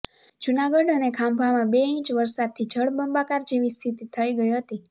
જૂનાગઢ અને ખાંભામાં બે ઈંચ વરસાદથી જળબંબાકાર જેવી સ્થિતિ થઈ હતી